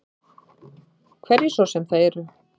Hverjir svo sem það eru.